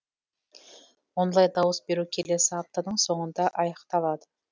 онлайн дауыс беру келесі аптаның соңында аяқталады